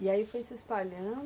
E aí foi se espalhando?